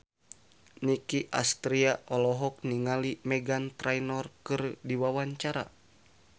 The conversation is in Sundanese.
Nicky Astria olohok ningali Meghan Trainor keur diwawancara